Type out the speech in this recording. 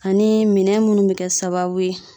Ani minɛn minnu bɛ kɛ sababu ye